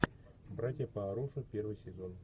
братья по оружию первый сезон